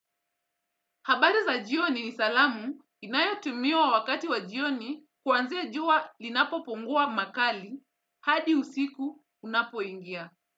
Habari za jioni ni salamu inayo tumiwa wakati wa jioni kuanzia jua linapo pungua makali hadi usiku unapo ingia.